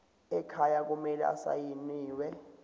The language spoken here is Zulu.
ekhaya kumele asayiniwe